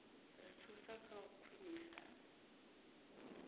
ri thusa kha u khwinisa